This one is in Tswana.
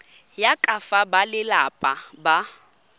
ya ka fa balelapa ba